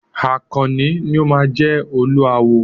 Àkànní ni o máa jẹ Olúawo.